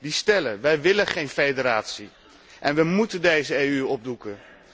Die stellen wij willen geen federatie, en we moeten deze EU opdoeken.